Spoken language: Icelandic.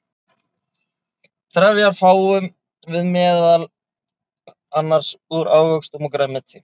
trefjar fáum við meðal annars úr ávöxtum og grænmeti